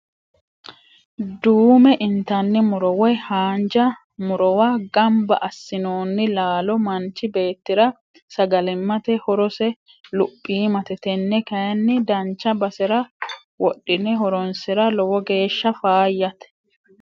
Duume intanni muro woyi haanja murowi gamba assinonni laalo manchi beettira sagalimate horose luphimate tene kayinni dancha basera wodhine horonsira lowo geeshsha faayyate.